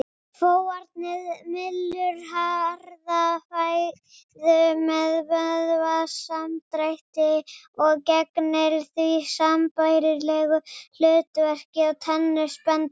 Fóarnið mylur harða fæðu með vöðvasamdrætti og gegnir því sambærilegu hlutverki og tennur spendýra.